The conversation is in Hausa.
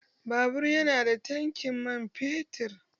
Babur ya nada tankin man fetur.